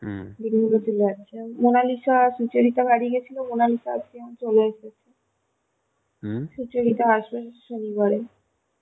Mona Lisa Sucharita বাড়ি গেছিল মোনালিসা আজকে যেমন চলে এসেছে সুচরিতা আসবে শনিবারে